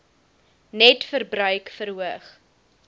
net verbruik verhoog